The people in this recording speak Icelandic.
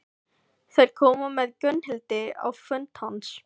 Þeir komu með Gunnhildi á fund hans.